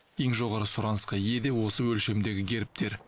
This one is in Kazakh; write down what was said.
ең жоғары сұранысқа ие де осы өлшемдегі гербтер